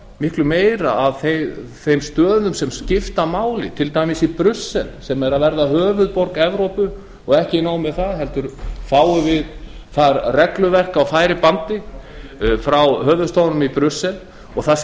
miklu meira að þeim stöðum sem skipta máli til dæmis í brussel sem er að verða höfuðborg evrópu og ekki nóg með það heldur fáum við þaðan regluverk á færibandi frá höfuðstöðvunum í brussel það